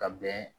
Ka bɛn